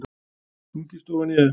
Stungist ofan í þau.